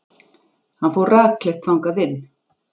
Hann fór rakleitt þangað inn.